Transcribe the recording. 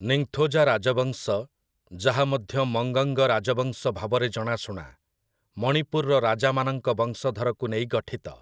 ନିଙ୍ଗଥୋଜା ରାଜବଂଶ, ଯାହା ମଧ୍ୟ ମଙ୍ଗଙ୍ଗ ରାଜବଂଶ ଭାବରେ ଜଣାଶୁଣା, ମଣିପୁରର ରାଜାମାନଙ୍କ ବଂଶଧରକୁ ନେଇ ଗଠିତ ।